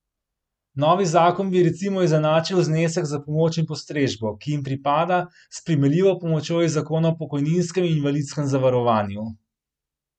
Novi zakon bi recimo izenačil znesek za pomoč in postrežbo, ki jim pripada, s primerljivo pomočjo iz zakona o pokojninskem in invalidskem zavarovanju.